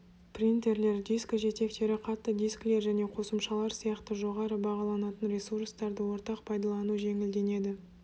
принтерлер дискіжетектері қатты дискілер және қосымшалар сияқты жоғары бағаланатын ресурстарды ортақ пайдалану жеңілденеді